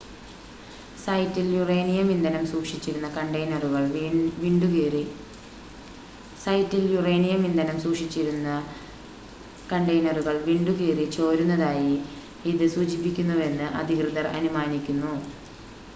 സൈറ്റിൽ യുറേനിയം ഇന്ധനം സൂക്ഷിച്ചിരുന്ന കണ്ടെയ്‌നറുകൾ വിണ്ടുകീറി ചോരുന്നതായി ഇത് സൂചിപ്പിക്കുന്നുവെന്ന് അധികൃതർ അനുമാനിക്കുന്നു